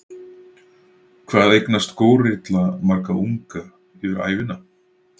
Hvað eignast górilla marga unga yfir ævina?